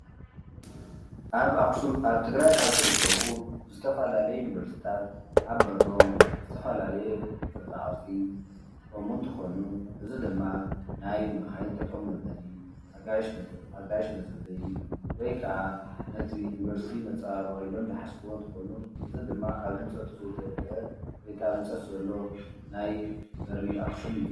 ኣብ ኣኽሱም ኣብ ትግራይ ካብ ዝርከቡ ዝተፋላለዩ ዩኒቨርስታት ኣብ በሮም ዝተፈላለየ ቅርፃ ቅርፂ ዝጥቀሙ እንትኾኑ እዚ ድማ ናይ መኻይን ጠጠው መበሊ፣ ኣጋይሽ መፀበይ ወይከዓ ነቲ ዩኒቨርስቲ መፀባበቒ ኢሎም ዝሓስብዎ እንትኾኑ እዚ ድማ ኣብ ህንፀቱ ዘይተወድአ ወይከዓ አብ ህንፀት ዘሎ ናይ በሪ ኣኽሱም እዩ፡፡